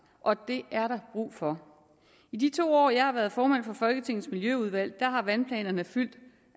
og det er der brug for i de to år hvor jeg har været formand for folketingets miljøudvalg har vandplanerne